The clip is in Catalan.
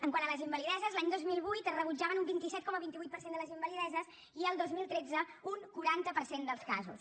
quant a les invalideses l’any dos mil vuit es rebutjaven un vint set coma vint vuit per cent de les invalideses i el dos mil tretze un quaranta per cent dels casos